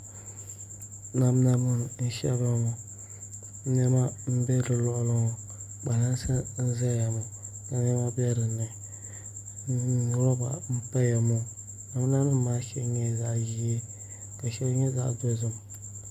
Namda nim n shɛbiya ŋɔ niɛma n bɛ di luɣuli ŋɔ kpalansi n ʒɛya ŋɔ ka niɛma bɛ dinni roba n paya ŋɔ namda nim maa shɛli nyɛla zaɣ ʒiɛ ka shɛli nyɛ zaɣ dozim